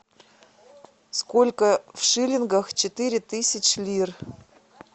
сколько в шиллингах четыре тысячи лир